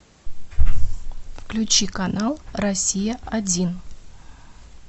включи канал россия один